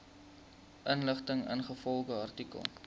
inligting ingevolge artikel